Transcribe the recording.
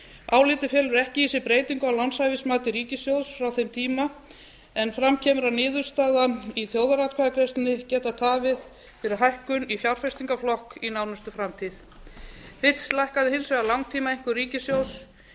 álitið felur ekki í sér breytingu á lánshæfismati ríkissjóðs frá þeim tíma en fram kemur að niðurstaðan í þjóðaratkvæðagreiðslunni getur tafið fyrir hækkun í fjárfestingarflokk í nánustu framtíð eins lækkaði hins vegar langtímaeinkunn ríkissjóðs